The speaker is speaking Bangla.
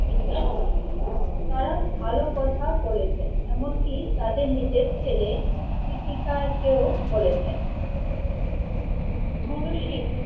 নিন্দা করেছেন। তারা ভালো কথা বলেছেন। এমনকি তাদের নিজের ছেলে কৃতিকারকেও বলেছন গুরু শিখ